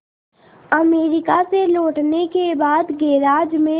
America से लौटने के बाद गैराज में